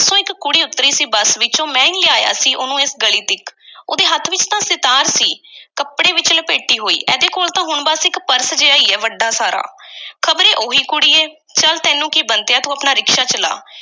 ਇੱਕ ਕੁੜੀ ਉੱਤਰੀ ਸੀ ਬੱਸ ਵਿੱਚੋਂ। ਮੈਂ ਈ ਲਿਆਇਆ ਸੀ, ਉਹਨੂੰ ਇਸ ਗਲੀ ਤੀਕ। ਉਹਦੇ ਹੱਥ ਵਿੱਚ ਤਾਂ ਸਿਤਾਰ ਸੀ, ਕੱਪੜੇ ਵਿੱਚ ਲਪੇਟੀ ਹੋਈ। ਇਹਦੇ ਕੋਲ ਤਾਂ ਹੁਣ ਬੱਸ ਇੱਕ purse ਜਿਹਾ ਈ ਐ, ਵੱਡਾ ਸਾਰਾ। ਖ਼ਬਰੇ ਉਹੋ ਈ ਕੁੜੀ ਐ। ਚੱਲ ਤੈਨੂੰ ਕੀ ਬੰਤਿਆ, ਤੂੰ ਆਪਣਾ ਰਿਕਸ਼ਾ ਚਲਾ